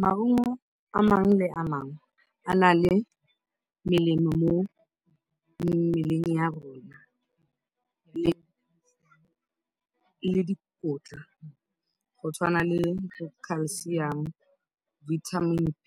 Maungo a mangwe le a mangwe a na le melemo mo mmeleng ya rona le dikotla go tshwana le Calcium, Vitamin B,